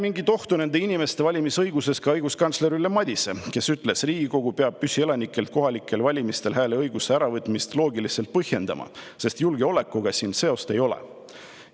" Mingit ohtu ei näe nende inimeste valimisõiguses ka õiguskantsler Ülle Madise, kes ütles, et Riigikogu peab püsielanikelt kohalikel valimistel hääleõiguse äravõtmist loogiliselt põhjendama, sest julgeolekuga siin seost ei ole.